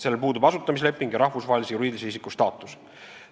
Sellel puudub asutamisleping ja rahvusvahelise juriidilise isiku staatus.